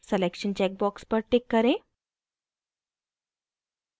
selection check box पर tick करें